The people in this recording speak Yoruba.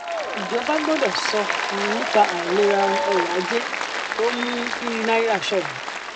ìjọba gbọdọ sọ um nípa àìlera um ọrọ ajé tó mú um kí náírà ṣọwọn